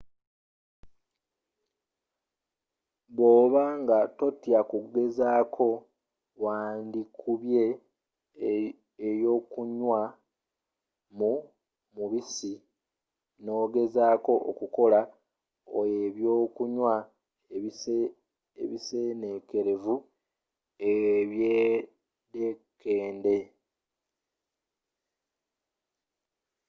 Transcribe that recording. bwoba nga totya kugezako wandikubye eyokunywa mu mubisi nogezako okukola ebyokunywa ebisenekerevu ebyedekende